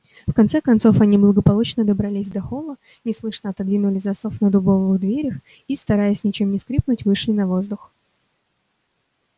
в конце концов они благополучно добрались до холла неслышно отодвинули засов на дубовых дверях и стараясь ничем не скрипнуть вышли на воздух